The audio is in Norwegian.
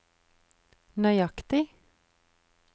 nøyaktig